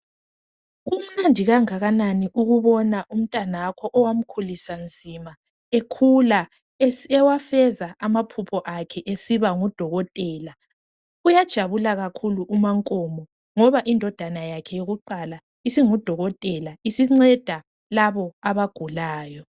Kumnandi kangakanani ukubona umntanakho owamkhulisa nzima ekhula ewafeza amaphupho akhe esiba ngudokotela. Uyajabula kakhulu umaNkomo ngoba indodana yakhe eyokuqala isingudokotela isinceda labo abagulayo.